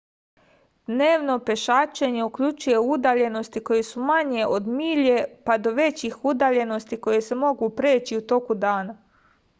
dnevno pešačenje uključuje udaljenosti koje su manje od milje pa do većih udaljenosti koje se mogu preći u toku jednog dana